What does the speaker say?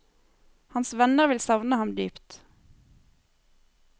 Hans venner vil savne ham dypt.